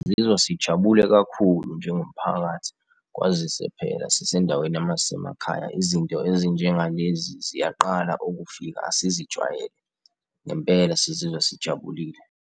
Sizizwa sijabule kakhulu njengomphakathi kwazise phela sisendaweni yasemakhaya, izinto ezinjengalezi ziyaqala ukufika. Asizijwayele ngempela sizizwa sijabulile.